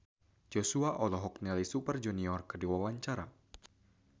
Joshua olohok ningali Super Junior keur diwawancara